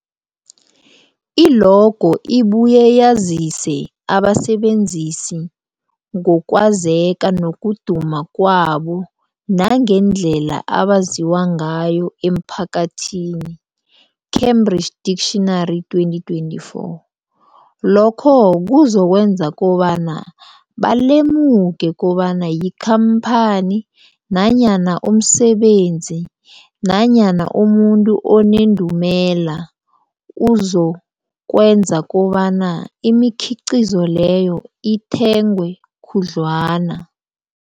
I-logo ibuye yazise abasebenzisi ngokwazeka nokuduma kwabo nangendlela abaziwa ngayo emphakathini, Cambridge Dictionary, 2024. Lokho kuzokwenza kobana balemuke kobana yikhamphani nanyana umsebenzi nanyana umuntu onendumela, okuzokwenza kobana imikhiqhizo leyo ithengwe khudlwana.